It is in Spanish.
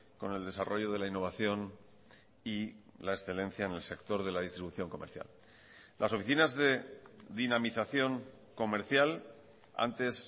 con el desarrollo de la innovación y la excelencia en el sector de la distribución comercial las oficinas de dinamización comercial antes